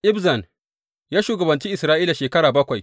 Ibzan ya shugabanci Isra’ila shekara bakwai.